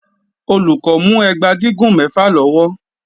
Olùkọ́ mú ẹgba gígùn mẹfa lọ́wọ́.